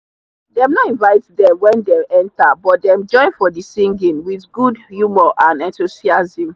them no invite them when them enter but them join for the singing with good humor and enthusiasm.